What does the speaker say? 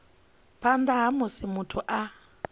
phanḓa ha musi muthu a